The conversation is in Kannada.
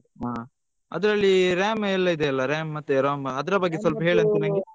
ಹಾ ಅದ್ರಲ್ಲಿ RAM ಎಲ್ಲ ಇದೆ ಅಲ್ಲ RAM ಮತ್ತೆ ROM ಅದ್ರ ಬಗ್ಗೆ ಸ್ವಲ್ಪ ಹೇಳು ಅಂತೆ ನನ್ಗೆ.